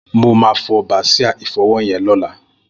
Mó mà fọ bàsiá ifọwọ yèn lọ̀lá